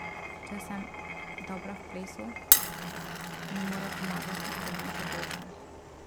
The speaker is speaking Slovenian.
Če sem dobra v plesu, mi morajo pomagati, da bom še boljša.